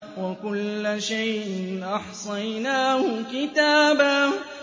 وَكُلَّ شَيْءٍ أَحْصَيْنَاهُ كِتَابًا